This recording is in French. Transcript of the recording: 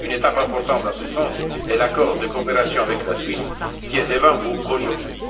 Une étape importante dans ce sens est l'accord de coopération avec la Suisse, qui est devant vous aujourd'hui.